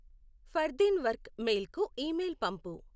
Fardeen work mail కు email పంపు